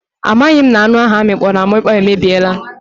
A maghị m na anụ ahụ amịkpọrọ amịkpọ emebiela.